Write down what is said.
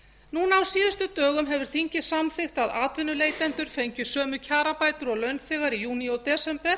núna á síðustu dögum hefur þingið samþykkt að atvinnuleitendur fengju sömu kjarabætur og launþegar í júní og desember